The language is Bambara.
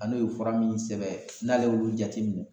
An'o ye fura munun sɛbɛn n'ale y'olu jateminɛ